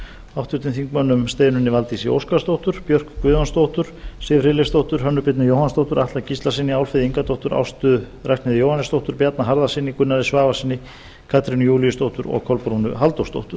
háttvirtur þingmaður steinunni valdísi óskarsdóttur björk guðjónsdóttur siv friðleifsdóttur hönnu birnu jóhannsdóttur atla gíslasyni álfheiði ingadóttur ástu ragnheiði jóhannesdóttur bjarna harðarsyni gunnari svavarssyni katrínu júlíusdóttur og kolbrúnu halldórsdóttur